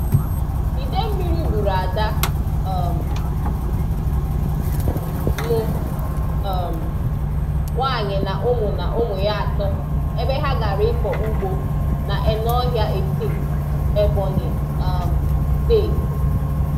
Idemmiri gbùrù Ádà um m um nwanyị na ụmụ na ụmụ ya atọ ebe ha gara ịkọ ụ̀gbọ n'Ènọhìá Ètìm, Ebonyi um Steeti.